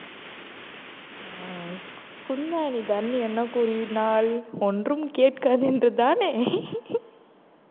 உம் குந்தாணி தரணி என்ன கூறினால் ஒன்றும் கேட்காது என்று தானே